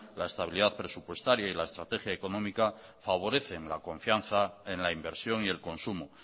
la estabilidad presupuestaria y la estrategia económica favorecen la confianza en la inversión y el consumo